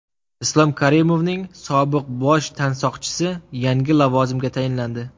Islom Karimovning sobiq bosh tansoqchisi yangi lavozimga tayinlandi .